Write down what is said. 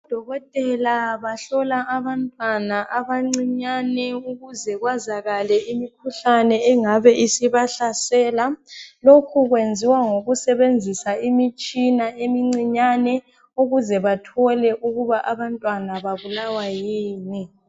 Odokotela bahlola abantwana abancinyane ukuze kwazakale imikhuhlane engabe isibahlasela lokhu kwenziwa ngokusebenzisa imitshina emincinyane ukuze bathole abantwana babulawa yini.